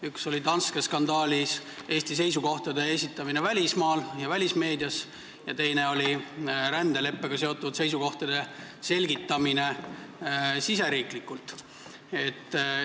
Üks oli Danske skandaalis Eesti seisukohtade esitamine välismaal ja välismeedias ning teine oli rändeleppega seotud seisukohtade selgitamine riigis sees.